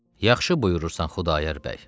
Yaxşı buyurursan Xudayar bəy.